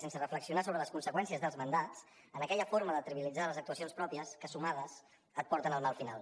sense reflexionar sobre les conseqüències dels mandats en aquella forma de trivialitzar les actuacions pròpies que sumades et porten al mal final